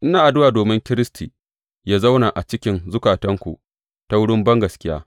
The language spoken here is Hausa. Ina addu’a domin Kiristi yă zauna a cikin zukatanku ta wurin bangaskiya.